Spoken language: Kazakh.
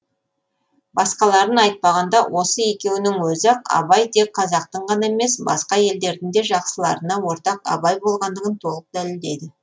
басқаларын айтпағанда осы екеуінің өзі ақ абай тек қазақтың ғана емес басқа елдердің де жақсыларына ортақ абай болғандығын толық дәлелдейді